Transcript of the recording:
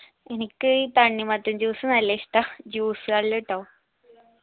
എനിക്ക് ഈ തണ്ണിമത്തൻ juice നല്ലിഷ്ടാ juice കളിലെട്ടോ